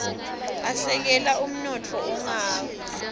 asekela umnotfo ungawia